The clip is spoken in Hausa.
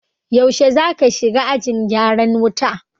Yaushe zaka shiga ajin gyaran wuta?